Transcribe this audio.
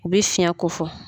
U bɛ fiyɛn ko fɔ.